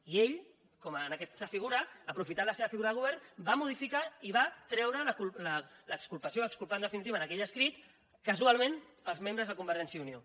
i ell com aquesta figura aprofitant la seva figura de govern va modificar i va treure l’exculpació va exculpar en definitiva en aquell escrit casualment els membres de convergència i unió